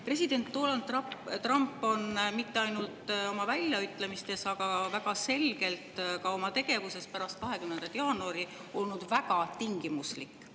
President Donald Trump on mitte ainult oma väljaütlemistes, vaid väga selgelt ka oma tegevuses pärast 20. jaanuari olnud väga tingimuslik.